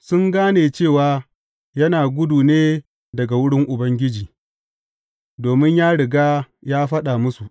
Sun gane cewa yana gudu ne daga wurin Ubangiji, domin ya riga ya faɗa musu.